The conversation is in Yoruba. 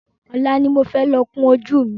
Ọlá ni mo fẹ́ lọ kún ojú mi